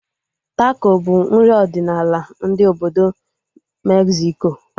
Tako bụ nri ọdịnala ndị obodo Megziko